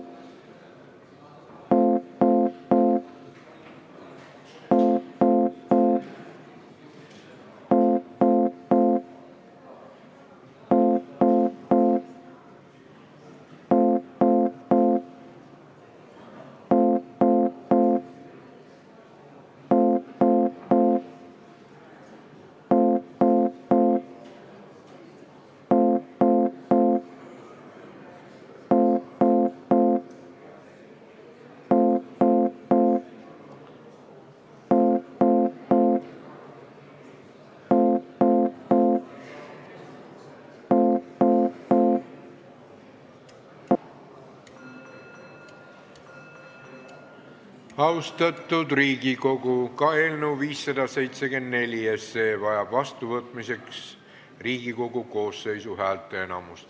Austatud Riigikogu, ka eelnõu 574 vajab vastuvõtmiseks Riigikogu koosseisu häälteenamust.